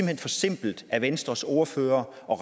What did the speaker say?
hen for simpelt af venstres ordfører at